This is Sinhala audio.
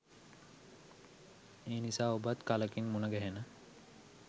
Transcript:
එනිසා ඔබත් කලකින් මුණගැහෙන